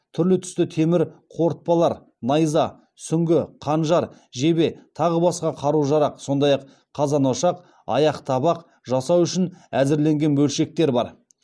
түрлі түсті темір қорытпалар найза сүңгі қанжар жебе тағы басқа қару жарақ сондай ақ қазан ошақ аяқ табақ жасау үшін әзірленген бөлшектер бар